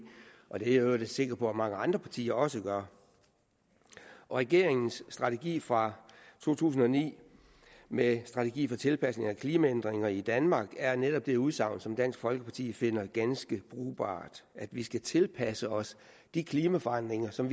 og i øvrigt sikker på mange andre partier også gør regeringens strategi fra to tusind og ni med strategi for tilpasning til klimaændringer i danmark er netop det udsagn som dansk folkeparti finder ganske brugbart at vi skal tilpasse os de klimaforandringer som